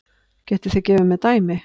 Getið þið gefið mér dæmi?